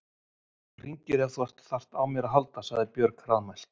Þú hringir ef þú þarft á mér að halda, sagði Björg hraðmælt.